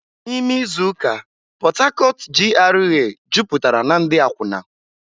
N'ime izu ụka, Port Harcourt GRA jupụtara na ndị akwụna.